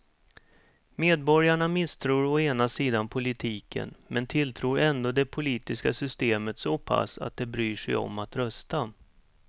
Medborgarna misstror å ena sidan politiken men tilltror ändå det politiska systemet så pass att de bryr sig om att rösta.